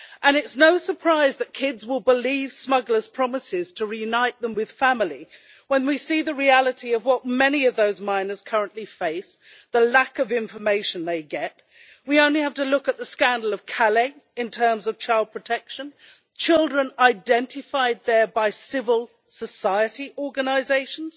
It is no surprise that kids will believe smugglers' promises to reunite them with family when we see the reality of what many of those minors currently face and the lack of information they get. We only have to look at the scandal of Calais in terms of child protection children identified there by civil society organisations,